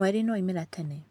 Mweri nĩ waumĩra tene.